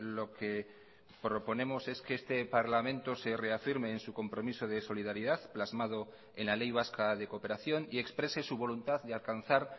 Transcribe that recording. lo que proponemos es que este parlamento se reafirme en su compromiso de solidaridad plasmado en la ley vasca de cooperación y exprese su voluntad de alcanzar